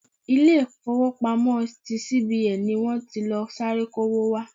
Ilé ifowopamo ti CBN ni wọ́n ti lọ sáré kó'wó wá.